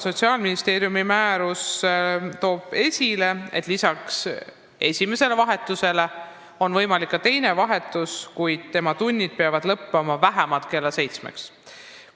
Sotsiaalministeeriumi määrus toob lausa esile, et lisaks esimesele vahetusele on võimalik ka teine vahetus, kuid tunnid peavad lõppema vähemalt kella seitsmeks.